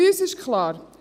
Für uns ist klar: